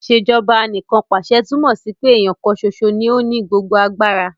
Ìṣèjọba Anìkanpàṣẹ túmọ̀ sí pé èèyàn kan ṣoṣo ní ó ní gbogbo agbára